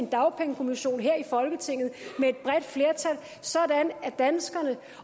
dagpengekommissionen her i folketinget med et bredt flertal sådan at danskerne